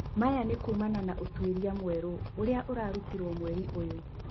Maya nĩ kuumana na ũtwĩria mwerũũrĩa ũrarutirwo mweri ũyũ.